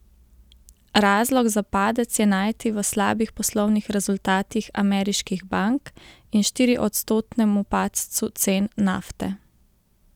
Razlog za padec je najti v slabih poslovnih rezultatih ameriških bank in štiriodstotnemu padcu cen nafte.